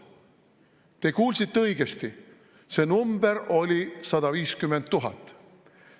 Te kuulsite õigesti, see number oli 150 000.